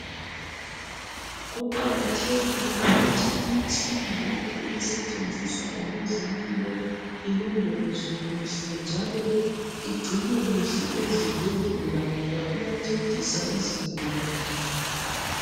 Kuqakathekile ukuthi imitshina yonke esetshenziswa ngabezempilo ilondolozwe kuhle njalo igcinwe kuhle ezibhedlela ngoba iyancedisa izigulane.